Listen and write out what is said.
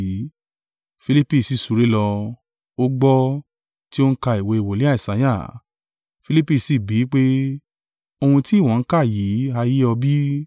Filipi si súré lọ, ó gbọ́ ti ó ń ka ìwé wòlíì Isaiah, Filipi sì bí i pé, “Ohun tí ìwọ ń kà yìí ha yé ọ bí?”